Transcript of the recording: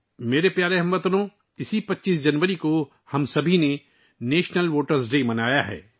میرے پیارے ہم وطنو، اسی 25 جنوری کو ہم سبھی نے قومی یومِ رائے دہندگاں منایا ہے